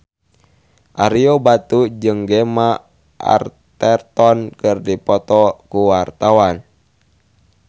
Ario Batu jeung Gemma Arterton keur dipoto ku wartawan